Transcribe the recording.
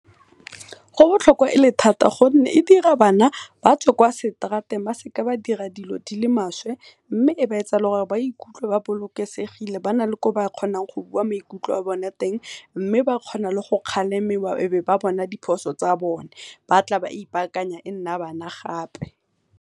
Go botlhokwa e le thata gonne e dira bana batswe kwa seterateng ba seka ba dira dilo dile maswe, mme e ba etsa gore ba ikutlwe ba bolokesegile ba na le le ko ba kgona go bua maikutlo a bone ko teng, mme ba kgona le go kgalemiwa e be ba bona diphoso tsa bone batla ba ipakanya e nna bana gape.